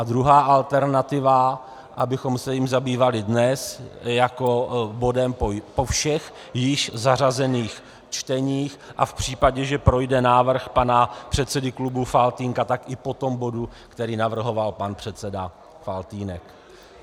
A druhá alternativa, abychom se jím zabývali dnes jako bodem po všech již zařazených čteních, a v případě, že projde návrh pana předsedy klubu Faltýnka, tak i po tom bodu, který navrhoval pan předseda Faltýnek.